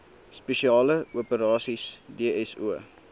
spesiale operasies dso